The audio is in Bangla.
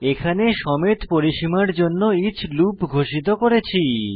এখানে সমেত পরিসীমার জন্য ইচ লুপ ঘোষিত করেছি